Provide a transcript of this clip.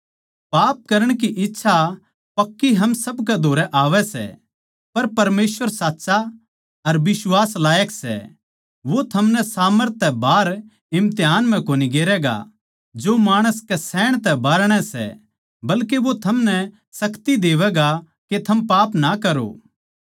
पाप करण की इच्छा पक्की हम सब कै धोरै आवै सै पर परमेसवर साच्चा अर बिश्वास लायक सै वो थमनै सामर्थ तै बाहर इम्तिहान म्ह कोनी गेरैगा जो माणस कै सहण तै बाहरणै सै बल्के वो थमनै शक्ति देवैगा के थम पाप ना करो